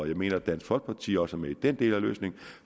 jeg mener dansk folkeparti også er med i den del af løsningen